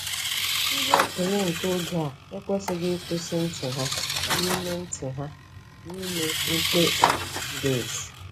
Ndị okenye nke oge a ekwesịghị 'ịkwụsị ntị ha' n'ime ntị ha' n'ime mkpesa ziri ezi.